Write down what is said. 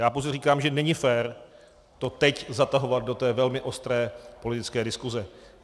Já pouze říkám, že není fér to teď zatahovat do té velmi ostré politické diskuze.